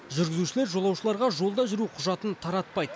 жүргізушілер жолаушыларға жолда жүру құжатын таратпайды